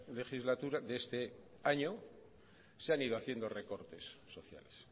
legislatura de este año se han ido haciendo recortes sociales